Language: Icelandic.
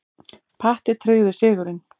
Patti tryggði sigurinn.